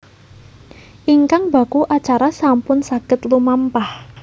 Ingkang baku acara sampun saged lumampah